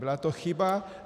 Byla to chyba.